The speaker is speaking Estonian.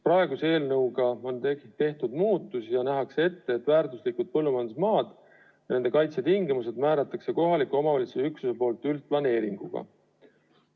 Praeguse eelnõuga on tehtud muudatusi ja nähakse ette, et väärtuslikud põllumajandusmaad ja nende kaitse tingimused määrab kohaliku omavalitsuse üksus üldplaneeringuga.